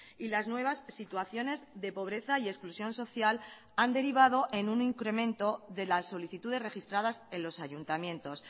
y las nuevas situaciones de pobreza y exclusión social han derivado en un incremento de las solicitudes registradas en los ayuntamientos